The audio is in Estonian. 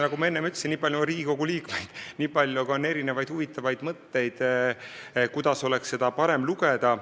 Nagu ma enne ütlesin, nii palju kui on Riigikogu liikmeid, nii palju on ka erinevaid huvitavaid mõtteid, kuidas oleks eelarvet parem lugeda.